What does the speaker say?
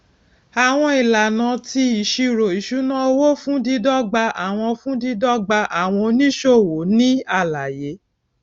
àwọn ìlànà ti ìṣírò ìṣúnáowó fún dídọgba àwọn fún dídọgba àwọn oníṣòwò nì àlàyé